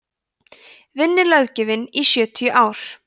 vinnulöggjöfin í sjötíu ár